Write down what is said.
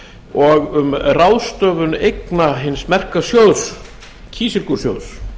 og um ráðstöfun eigna hins merka sjóðs kísilgúrsjóðs